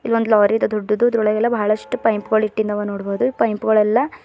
ಇಲ್ಲ ಒಂದ ಲಾರಿ ಅದ ದೊಡ್ಡದು ಅದರೊಳಗ ಎಲ್ಲ ಬಹಳಸ್ಟ ಪೈಪ್ ಗಳ ಇಟ್ಟಿಂದವ ಆವಾ ನೋಡಬೊದು ಪೈಪ್ ಗೊಳ ಎಲ್ಲಾ --